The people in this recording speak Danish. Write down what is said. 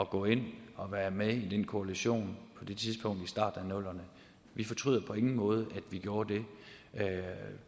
gå ind og være med i den koalition på det tidspunkt i starten af nullerne vi fortryder på ingen måde at vi gjorde det